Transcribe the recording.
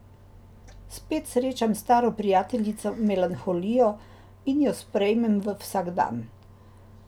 Spet srečam staro prijateljico melanholijo in jo sprejmem v vsakdan.